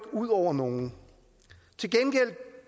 ud over nogen til gengæld